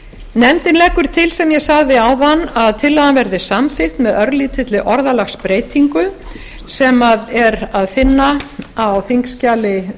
nefndin leggur til sem ég sagði áðan að tillagan verði samþykkt með örlítilli orðalagsbreytingu sem er að finna á þingskjali